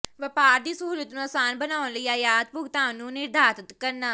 ਵਪਾਰ ਦੀ ਸਹੂਲਤ ਨੂੰ ਆਸਾਨ ਬਣਾਉਣ ਲਈ ਆਯਾਤ ਭੁਗਤਾਨ ਨੂੰ ਨਿਰਧਾਰਤ ਕਰਨਾ